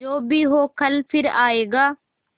जो भी हो कल फिर आएगा